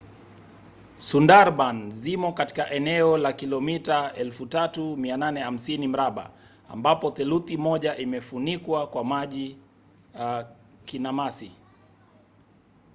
sundarban zimo katika eneo la kilomita 3,850 mraba ambapo theluthi moja imefunikwa kwa maji/kinamasi